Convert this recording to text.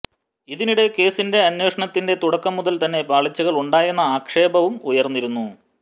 ഇതിനിടെ കേസിന്റെ അന്വേഷണത്തിന്റെ തുടക്കം മുതൽ തന്നെ പാളിച്ചകൾ ഉണ്ടായെന്ന ആക്ഷേപവും ഉയർന്നിരുന്നു